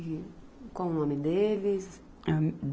E qual o nome deles? A